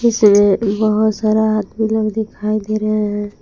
बहोत सारा आदमी लोग दिखाई दे रहे है।